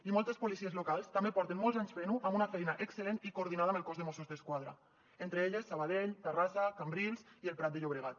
i moltes policies locals també porten molts anys fent ho amb una feina excel·lent i coordinada amb el cos de mossos d’esquadra entre elles sabadell terrassa cambrils i el prat de llobregat